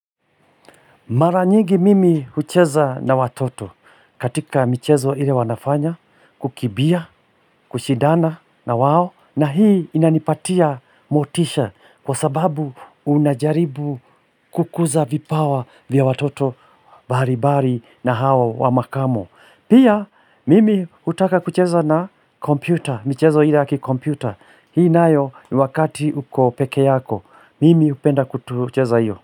Mara nyingi mimi hucheza na watoto, katika michezo ile wanafanya, kukimbia, kushidana na wao, na hii inanipatia motisha kwa sababu unajaribu kukuza vipawa vya watoto mbali mbali na hawa wa makamo. Pia mimi hutaka kucheza na kompyuta, michezo ile yaki kompyuta, hii nayo ni wakati uko peke yako, mimi hupenda kucheza hiyo.